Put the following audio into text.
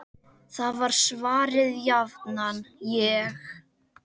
Þá var svarið jafnan: Ég?!